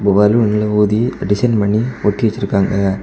பலூனெல்லா ஊதி டிசைன் பண்ணி ஒட்டி வச்சிருக்காங்க.